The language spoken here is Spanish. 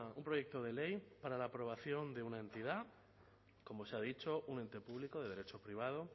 un proyecto de ley para la aprobación de una entidad como se ha dicho un ente público de derecho privado